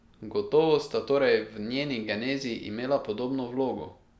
Gotovo sta torej v njeni genezi imela pomembno vlogo?